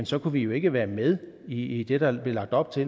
så kunne vi jo ikke være med i det der blev lagt op til